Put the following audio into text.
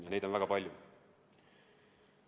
Ja neid on väga palju.